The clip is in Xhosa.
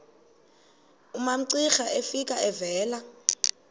umamcira efika evela